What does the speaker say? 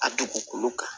A dugukolo kan